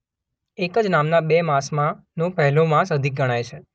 એક જ નામના બે માસમાંનો પહેલો મહિનો અધિક ગણાય છે.